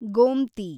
Gomati